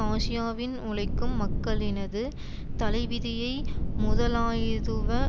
ஆசியாவின் உழைக்கும் மக்களினது தலைவிதியை முதலாயதுவ